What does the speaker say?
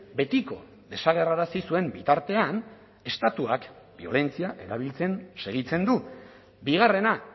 betiko desagerrarazi zuen bitartean estatuak biolentzia erabiltzen segitzen du bigarrena